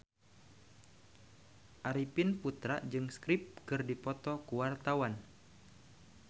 Arifin Putra jeung The Script keur dipoto ku wartawan